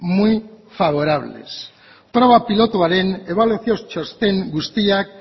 muy favorables proba pilotuaren ebaluazio txosten guztiak